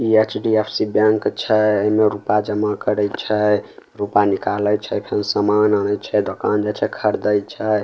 इ HDFC. Bank छै एमे रूपा जमा करै छै रूपा निकाले छै फेन सामान आनै छै दोकान जाय छै खरदय छै।